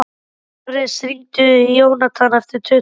Ares, hringdu í Jónatan eftir tuttugu og sjö mínútur.